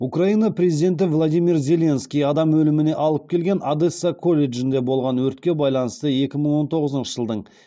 украина президенті владимир зеленский адам өліміне алып келген одесса колледжінде болған өртке байланысты екі мың он тоғызыншы жылдың